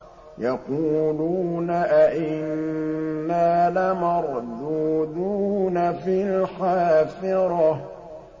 يَقُولُونَ أَإِنَّا لَمَرْدُودُونَ فِي الْحَافِرَةِ